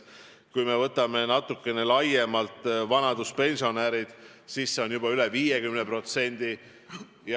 Kui me võtame natuke laiemalt vanaduspensionärid, siis on vaeseid juba üle 50%.